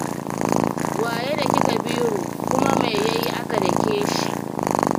Wa ya daki Kabiru, kuma me ya yi aka dake shi?